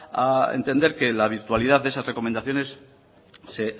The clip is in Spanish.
a entender que la virtualidad de esas recomendaciones se